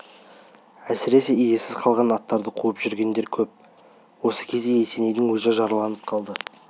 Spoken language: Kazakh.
әсіресе иесіз қалған аттарды қуып жүргендер кеп осы кезде есенейдің өзі жараланып қалды